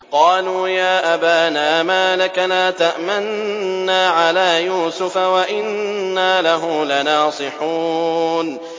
قَالُوا يَا أَبَانَا مَا لَكَ لَا تَأْمَنَّا عَلَىٰ يُوسُفَ وَإِنَّا لَهُ لَنَاصِحُونَ